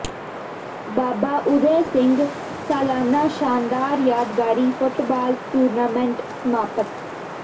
ਬਾਬਾ ਊਦੈ ਸਿੰਘ ਸਾਲਾਨਾ ਸ਼ਾਨਦਾਰ ਯਾਦਗਾਰੀ ਫੁੱਟਬਾਲ ਟੂਰਨਾਮੈਂਟ ਸਮਾਪਤ